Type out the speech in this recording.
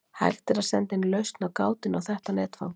hægt er að senda inn lausn á gátunni á þetta netfang